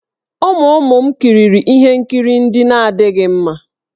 Ụmụ ụmụ m kiriri ihe nkiri ndị na-adịghị mma.